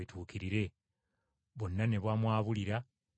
Bonna ne bamwabulira ne badduka.